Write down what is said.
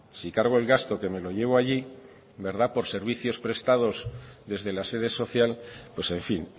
si cargo el gasto que me lo llevo allí verdad por servicios prestados desde la sede social pues en fin